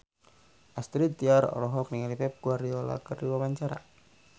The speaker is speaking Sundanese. Astrid Tiar olohok ningali Pep Guardiola keur diwawancara